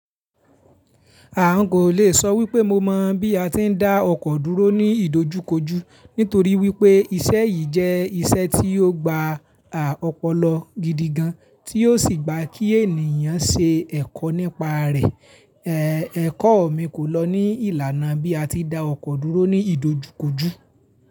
A kò lè sọ wípé mo mọ̀ bí a ti ń dá ọkọ̀ dúró ní ìdojúkojú, nítorí wípé iṣẹ́ yìí jẹ́ iṣẹ́ tí ó gba à ọpọlọ gidigan, tí ó sì gba kí ènìyàn ṣe ẹ̀kọ́ nípa rẹ̀. Ẹ̀kọ́ mi kò lọ ní ìlànà bí a ti dá ọkọ̀ dúró ní ìdojúkojú.